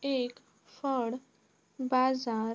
एक फळ बाजार --